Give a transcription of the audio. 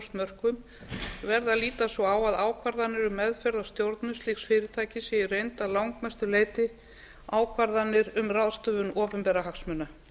mörkum verður að líta svo á að ákvarðanir um meðferð á stjórnun slíks fyrirtækis séu í reynd að langmestu leyti ákvarðanir um ráðstöfun opinberra hagsmuna